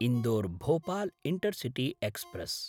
Indore Bhopal intercity express